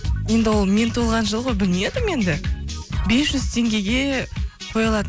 енді ол мен туылған жыл ғой білмедім енді бес жүз теңгеге қой алатын